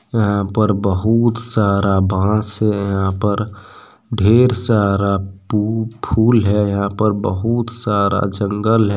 यहां पर बहुत सारा बांस है यहां पर ढेर सारा पू फूल है यहां पर बहुत सारा जंगल है।